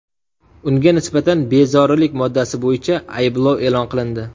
Unga nisbatan ‘Bezorilik’ moddasi bo‘yicha ayblov e’lon qilindi.